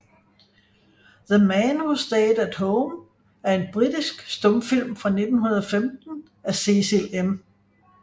The Man Who Stayed at Home er en britisk stumfilm fra 1915 af Cecil M